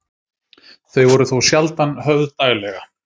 Þau voru þó sjaldan höfð daglega.